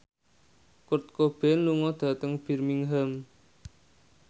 Kurt Cobain lunga dhateng Birmingham